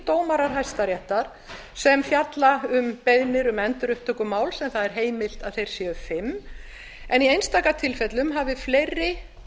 dómarar hæstaréttar fjalli um beiðnir um endurupptöku máls en það er heimilt að þeir séu fimm í einstaka tilfellum hafa fleiri